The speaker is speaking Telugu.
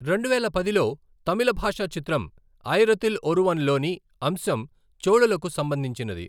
రెండువేల పదిలో తమిళభాషా చిత్రం ఆయిరతిల్ ఒరువన్లోని అంశం చోళులకు సంబంధించినది.